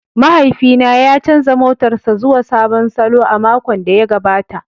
Mahaifina ya canza motarsa ​​zuwa sabon salo a makon da ya gabata.